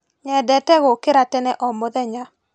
Nyendete gũkĩra tene o mũthenya.